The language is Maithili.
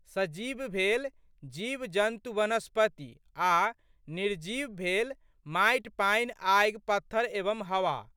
सजीव भेल जीवजन्तुवनस्पति आ' निर्जीव भेल माटि, पानि, आगि, पत्थर एवं हवा।